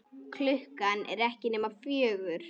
Klukkan er ekki nema fjögur.